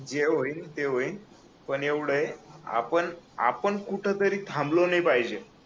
जे होईल ते होईल पण एवढ आहे आपण आपण कुठतरी थांबलो नाही पाहिजे